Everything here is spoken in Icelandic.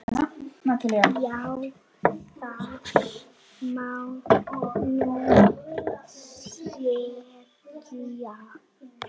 Já, það má nú segja.